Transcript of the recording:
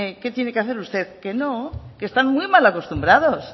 qué tiene que hacer usted que no que están muy mal acostumbrados